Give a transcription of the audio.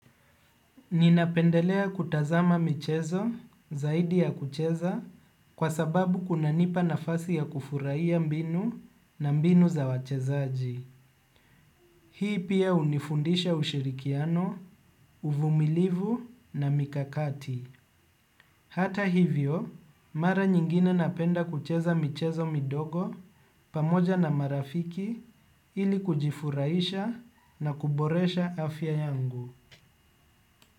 Ninapendelea kutazama michezo zaidi ya kucheza kwa sababu kuna nipa nafasi ya kufurahia mbinu na mbinu za wachezaji. Hii pia unifundisha ushirikiano, uvumilivu na mikakati. Hata hivyo mara nyingine napenda kucheza michezo midogo pamoja na marafiki ili kujifuraisha na kuboresha afya yangu.